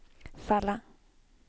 falla